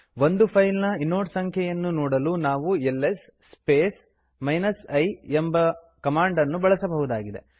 ಒಂದು ಫೈಲ್ ನ ಇನೋಡ್ ಸಂಖ್ಯೆಯನ್ನು ನೋಡಲು ನಾವು ಎಲ್ಎಸ್ ಸ್ಪೇಸ್ i ಎಂಬ ಕಮಾಂಡ್ ಅನ್ನು ಬಳಸಬಹುದಾಗಿದೆ